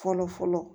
Fɔlɔ fɔlɔ